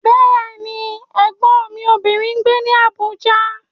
Bẹ́ẹ̀ni, Ẹ̀gbọ́n mi obìnrin ń gbé ní Abuja.